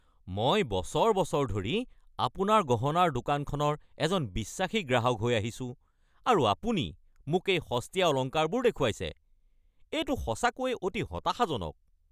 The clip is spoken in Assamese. মই বছৰ বছৰ ধৰি আপোনাৰ গহনাৰ দোকানখনৰ এজন বিশ্বাসী গ্ৰাহক হৈ আহিছোঁ আৰু আপুনি মোক এই সস্তীয়া অলংকাৰবোৰ দেখুৱাইছে? এইটো সঁচাকৈ অতি হতাশাজনক।